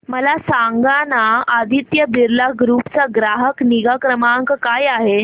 मला सांगाना आदित्य बिर्ला ग्रुप चा ग्राहक निगा क्रमांक काय आहे